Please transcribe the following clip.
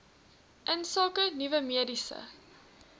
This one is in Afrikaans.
insake nuwe mediese